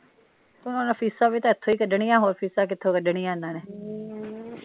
ਹੁਣ ਫੀਸਾਂ ਵੀ ਤਾ ਇਥੋਂ ਈ ਕਢਣੀਆਂ ਹੋਰ ਫੀਸਾਂ ਕਿਥੋਂ ਕੱਢਣੀਆਂ ਇਹਨਾਂ ਨੇ